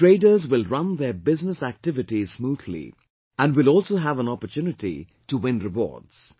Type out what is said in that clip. The traders will run their business activities smoothly and will also have an opportunity to win rewards